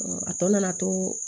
a tɔ nana to